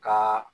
Ka